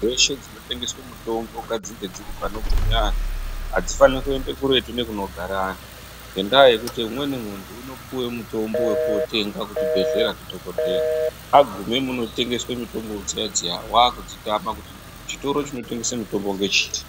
Dzeshe dzinotengeswe mitombo ngadzinge dziri panogume anhu, adzifane kuende kuretu nekunogare anhu. Ngendaa yekuti umweni muntu unopuwe mutombo wekootenga kuchibhedhlera ndidhokodheya. Agume munotengeswe mitombo dziya -dziya waakudzitama kuti chitoro chinotengese mutombo ngechiri.